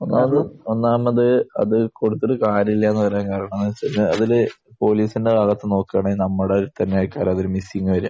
ഒന്നാമത് ഒന്നാമത്, അത് കൊടുത്തിട്ട് കാര്യമില്ല എന്ന് പറയാൻ കാരണം എന്ന് വെച്ച് കഴിഞ്ഞാൽ ഇതിൽ പോലീസിന്റെ ഭാഗത്ത് നിന്ന് നോക്കുകയാണെങ്കിൽ നമ്മുടെ ആയിട്ടാണ് ഒരു മിസ്സിംഗ് വരുക.